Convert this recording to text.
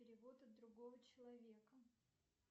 перевод от другого человека